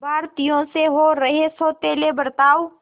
भारतीयों से हो रहे सौतेले बर्ताव